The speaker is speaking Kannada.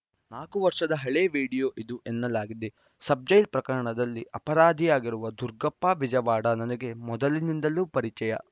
ನಾಲ್ಕು ವರ್ಷದ ಹಳೆಯ ವಿಡಿಯೋ ಇದು ಎನ್ನಲಾಗಿದೆ ಸಬ್‌ಜೈಲ್‌ ಪ್ರಕರಣದಲ್ಲಿ ಅಪರಾಧಿಯಾಗಿರುವ ದುರ್ಗಪ್ಪ ಬಿಜವಾಡ ನನಗೆ ಮೊದಲಿನಿಂದಲೂ ಪರಿಚಯ